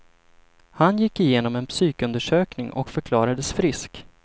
Han gick igenom en psykundersökning och förklarades frisk.